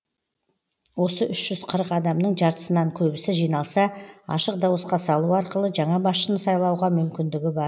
осы үш жүз қырық адамның жартысынан көбісі жиналса ашық дауысқа салу арқылы жаңа басшыны сайлауға мүмкіндігі бар